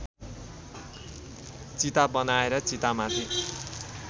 चिता बनाएर चितामाथि